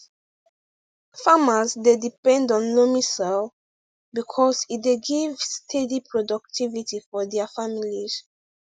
farmers dey depend on loamy soil because e dey give steady productivity for dia families